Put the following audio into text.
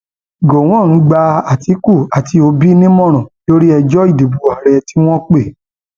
gọwọn gba àtìkù àti òbí nímọràn lórí ẹjọ ìdìbò ààrẹ tí wọn pè